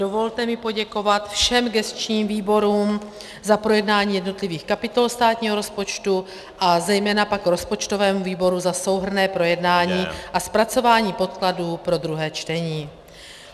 Dovolte mi poděkovat všem gesčním výborům za projednání jednotlivých kapitol státního rozpočtu a zejména pak rozpočtovému výboru za souhrnné projednání a zpracování podkladů pro druhé čtení.